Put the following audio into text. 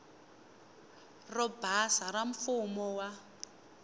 ro basa ra mfumo wa